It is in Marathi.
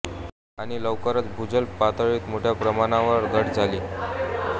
आणि लवकरच भूजल पातळीत मोठ्या प्रमाणावर घट झाली